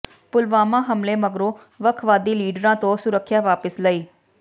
ਪੁਲਵਾਮਾ ਹਮਲੇ ਮਗਰੋਂ ਵੱਖਵਾਦੀ ਲੀਡਰਾਂ ਤੋਂ ਸੁਰੱਖਿਆ ਵਾਪਸ ਲਈ